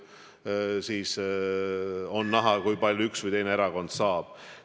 Siis on näha, kui palju üks või teine erakond saab.